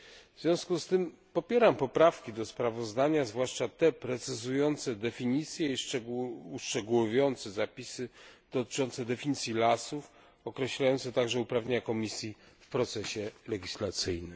W związku z tym popieram poprawki do sprawozdania, zwłaszcza te precyzujące definicje i uszczegółowiające zapisy dotyczące definicji lasów, określające także uprawnienia Komisji w procesie legislacyjnym.